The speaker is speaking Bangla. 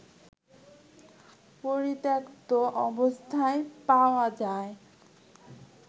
পরিত্যক্ত অবস্থায় পাওয়া যায়